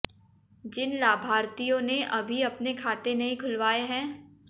जिन लाभार्थियों ने अभी अपने खाते नहीं खुलवाए हैं